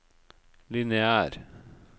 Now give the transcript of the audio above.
lineær